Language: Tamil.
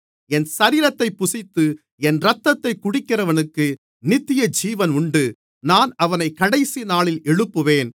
என் சரீரத்தைப் புசித்து என் இரத்தத்தைக் குடிக்கிறவனுக்கு நித்தியஜீவன் உண்டு நான் அவனைக் கடைசிநாளில் எழுப்புவேன்